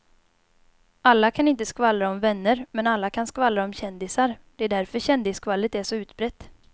Alla kan inte skvallra om vänner men alla kan skvallra om kändisar, det är därför kändisskvallret är så utbrett.